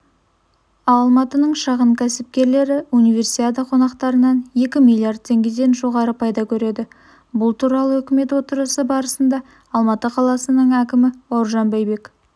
алматының шағын кәсіпкерлері универсиада қонақтарынан екі миллиард теңгеден жоғары пайда көреді бұл туралы үкімет отырысы барысында алматы қаласының әкімі бауыржан байбек